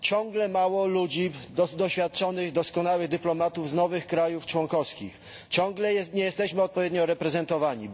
Ciągle mało ludzi doświadczonych, doskonałych dyplomatów z nowych krajów członkowskich, ciągle nie jesteśmy odpowiednio reprezentowani.